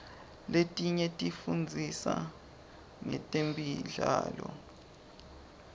letinye tifundzisa ngetemidlao